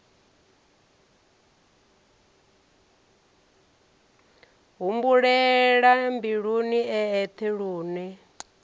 humbulela mbiluni e eṱhe lune